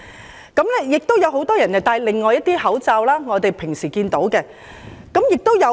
亦有很多人戴另一款口罩，即我們平時經常看到的一款。